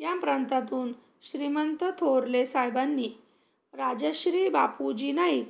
या प्रांतांतून श्रीमंत थोरले साहेबांनी राजश्री बापूजी नाईक